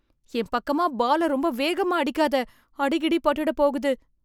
என் பக்கமா பால ரொம்ப வேகமா அடிக்காத. அடிகிடி பட்டுட போகுது.